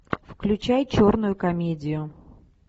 включай черную комедию